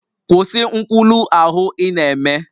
Kwụsị nkwulu ahụ ị na-eme